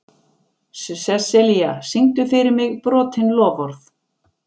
Seselía, syngdu fyrir mig „Brotin loforð“.